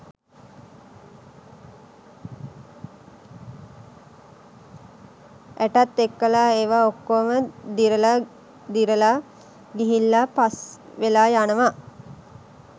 ඇටත් එක්කල ඒවා ඔක්කොම දිරලා දිරලා ගිහිල්ලා පස්වෙලා යනවා.